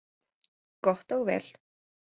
Gott og vel